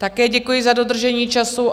Také děkuji za dodržení času.